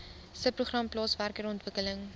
subprogram plaaswerker ontwikkeling